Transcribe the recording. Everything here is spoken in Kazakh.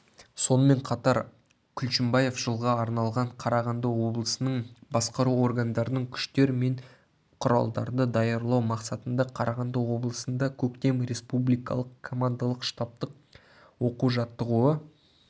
сонымен қатар күлшімбаев жылға арналған қарағанды облысының басқару органдарының күштер мен құралдарды даярлау мақсатында қарағанды облысында көктем республикалық командалық-штабтық оқу-жаттығуы